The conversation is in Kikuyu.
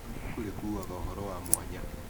O ibuku rĩkuaga ũhoro wa mwanya.